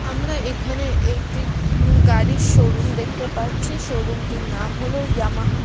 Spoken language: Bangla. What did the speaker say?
আমরা এখানে একটি উ গাড়ির শোরুম দেখতে পাচ্ছি শোরুমটির নাম হলো ইয়ামাহা ।